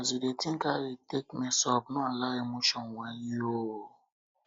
as yu dey tink how you take mess up no allow emotions whine you o